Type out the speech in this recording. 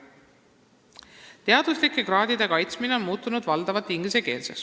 Viies küsimus: "Teaduslike kraadide kaitsmine on muutunud valdavalt inglise keelseks.